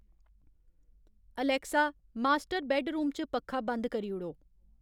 Alexa master bedroom च पक्खा बंद करी ओड़ो